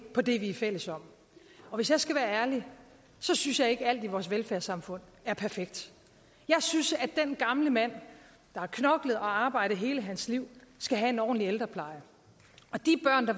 på det vi er fælles om hvis jeg skal være ærlig synes jeg ikke alt i vores velfærdssamfund er perfekt jeg synes at den gamle mand der har knoklet og arbejdet hele sit liv skal have en ordentlig ældrepleje